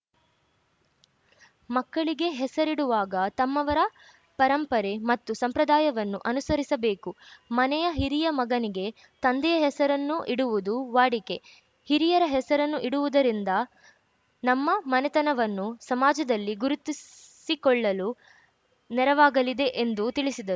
ಮಕ್ಕಳಿಗೆ ಹೆಸರಿಡುವಾಗ ತಮ್ಮವರ ಪರಂಪರೆ ಮತ್ತು ಸಂಪ್ರದಾಯವನ್ನು ಅನುಸರಿಸಬೇಕು ಮನೆಯ ಹಿರಿಯ ಮಗನಿಗೆ ತಂದೆಯ ಹೆಸರನ್ನು ಇಡುವುದು ವಾಡಿಕೆ ಹಿರಿಯರ ಹೆಸರನ್ನು ಇಡುವುದರಿಂದ ನಮ್ಮ ಮನೆತನವನ್ನು ಸಮಾಜಲ್ಲಿ ಗುರುತಿಸಿಕೊಳ್ಳಲು ನೆರವಾಗಲಿದೆ ಎಂದು ತಿಳಿಸಿದರು